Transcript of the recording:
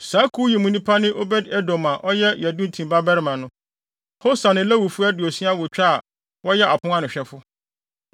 Saa kuw yi mu nnipa ne Obed-Edom (a ɔyɛ Yedutun babarima no), Hosa ne Lewifo aduosia awotwe a wɔyɛ apon ano hwɛfo.